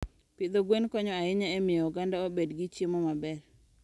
Pidho gwen konyo ahinya e miyo oganda obed gi chiemo maber.